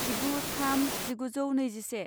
जिगु थाम जिगुजौ नैजिसे